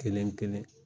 Kelen kelen